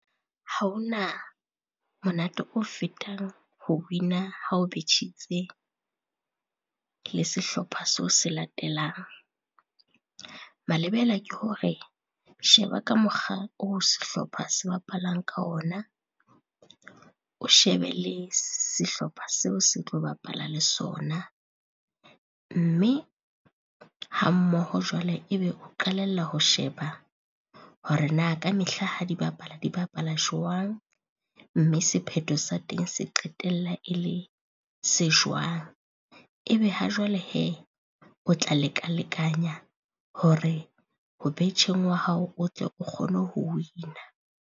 Ha ho na monate o fetang ho win-a ha o betjhitse le sehlopha seo se latelang. Malebela ke hore, sheba ka mokgwa oo sehlopha se bapalang ka ona, o shebe le sehlopha seo se tlo bapala le sona. Mme hammoho jwale e be o qalella ho sheba hore na kamehla ha di bapala, di bapala jwang mme sepheto sa teng se qetella e le se jwang. E be ha jwale hee, o tla leka-lekanya hore ho betjheng wa hao o tle o kgone ho win-a.